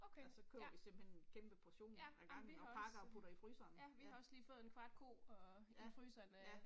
Og så køber vi simpelthen en kæmpe portion ad gangen og pakker og putter i fryseren. Ja. Ja, ja